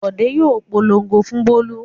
Bọ̀dé yóò polongo fún Bólú.